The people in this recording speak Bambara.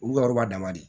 Olu ka yɔrɔ b'a damama de